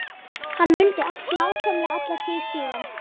Hann mundi allt nákvæmlega alla tíð síðan.